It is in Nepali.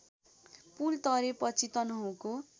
पुल तरेपछि तनहुँको